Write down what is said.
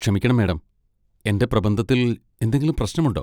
ക്ഷമിക്കണം മാഡം, എന്റെ പ്രബന്ധത്തിൽ എന്തെങ്കിലും പ്രശ്നമുണ്ടോ?